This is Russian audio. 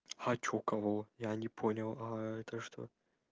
хочу кого я не понял а это что